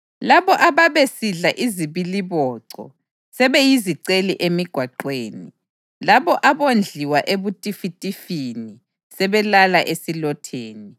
Labo ababesidla izibiliboco sebeyiziceli emigwaqweni. Labo abondliwa ebutifitifini sebelala esilotheni.